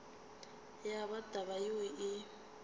ya ba taba yeo e